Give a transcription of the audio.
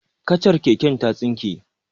Kacar keken ta tsinke.